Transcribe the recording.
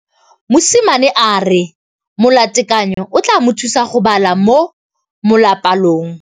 Mosimane a re molatekanyô o tla mo thusa go bala mo molapalong.